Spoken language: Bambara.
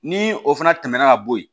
Ni o fana tɛmɛna ka bo yen